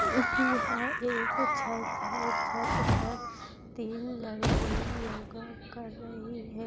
अह यहा एक छत है छत पर तीन लडकिया योगा कर रही है।